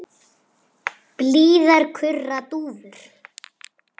Blíðar kurra dúfur.